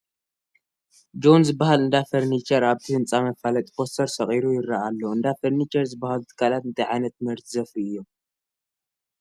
ጆን ዝበሃል እንዳ ፈርንቸር ኣብቲ ህንፃ መፋለጢ ፖስተር ሰቒሉ ይርአ ኣሎ፡፡ እንዳ ፈርኒቸር ዝበሃሉ ትካላት እንታይ ዓይነት ምህርቲ ዘፍርዩ እዮም?